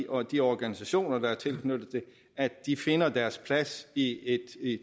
og de organisationer der er tilknyttet finder deres plads i et